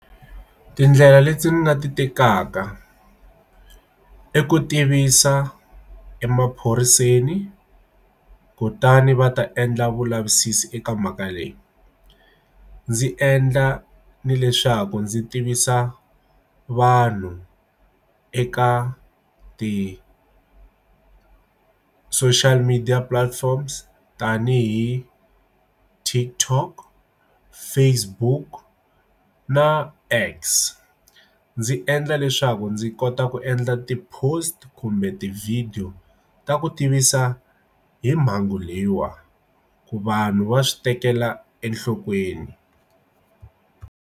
Tindlela leti ni nga ti tekaka i ku tivisa emaphoriseni kutani va ta endla vulavisisi eka mhaka leyi ndzi endla ni leswaku ndzi tivisa vanhu eka ti social media platforms tanihi TikTok Facebook na X ndzi endla leswaku ndzi kota ku endla ti-post kumbe tivhidiyo ta ku tivisa hi mhangu leyiwa ku vanhu va swi tekela enhlokweni.